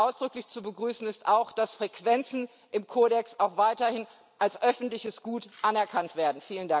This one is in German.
Ausdrücklich zu begrüßen ist auch, dass Frequenzen im Kodex auch weiterhin als öffentliches Gut anerkannt werden.